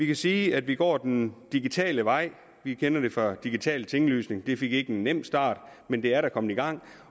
kan sige at vi går den digitale vej vi kender det fra digitale tinglysning det fik ikke nogen nem start men det er da kommet i gang